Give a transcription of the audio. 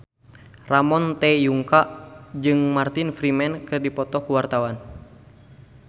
Ramon T. Yungka jeung Martin Freeman keur dipoto ku wartawan